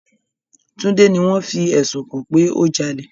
Tunde ni wọn fi ẹsun kàn pe o jale